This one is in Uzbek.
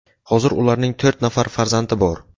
Hozir ularning to‘rt nafar farzandi bor.